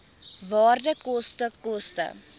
waarde koste koste